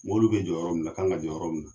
Mɔbili bɛ jɔ yɔrɔ minɛ k' kan ka jɔ yɔrɔ munna.